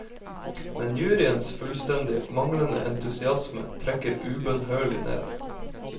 Men juryens fullstendig manglende entusiasme trekker ubønnhørlig ned.